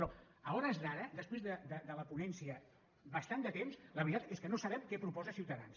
però a hores d’ara després de la ponència bastant de temps la veritat és que no sabem què proposa ciutadans